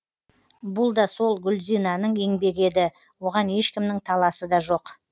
бұл да сол гүлзинаның еңбегі еді оған ешкімнің таласы да жоқ